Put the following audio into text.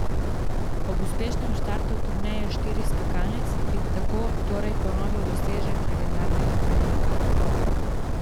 Ob uspešnem startu turneje štirih skakalnic bi tako torej ponovil dosežek legendarnega Poljaka.